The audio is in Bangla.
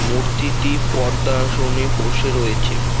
মূর্তিটি পদ্মাসনে বসে রয়েছে।